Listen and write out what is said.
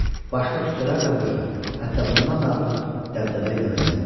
Başqa küçələr də bu cür, hətta bundan da artıq dəbdəbə ilə bəzənmişdi.